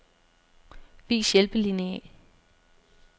Vis hjælpelineal.